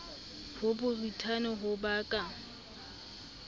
ho borithane ho ba ka